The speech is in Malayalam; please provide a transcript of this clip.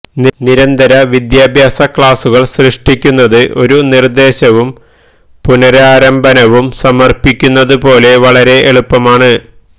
നിരന്തര വിദ്യാഭ്യാസ ക്ലാസ്സുകൾ സൃഷ്ടിക്കുന്നത് ഒരു നിർദേശവും പുനരാരംഭനവും സമർപ്പിക്കുന്നതുപോലെ വളരെ എളുപ്പമാണ്